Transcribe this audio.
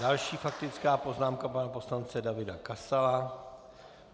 Další faktická poznámka pana poslance Davida Kasala.